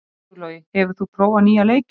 Sigurlogi, hefur þú prófað nýja leikinn?